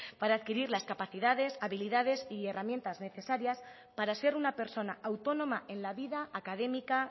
para adquirir las capacidades habilidades y herramientas necesarias para ser una persona autónoma en la vida académica